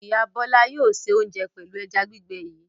Ìyá Bọ́lá yóò se oúnjẹ pẹ̀lú ẹja gbígbẹ yìí.